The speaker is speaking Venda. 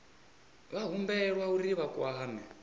vha humbelwa uri vha kwame